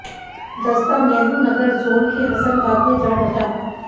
दस्ता नेहरु नगर जोन के हसनबाग में जा डटा